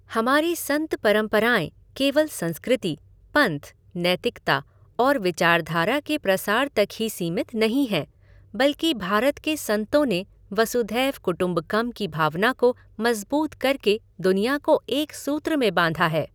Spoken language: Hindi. हमारी संत परंपराए केवल संस्कृति, पंथ, नैतिकता और विचारधारा के प्रसार तक ही सीमित नहीं हैं बल्कि भारत के संतों ने वसुधैव कुटुम्बकम की भावना को मजबूत करके दुनिया को एक सूत्र में बांधा है।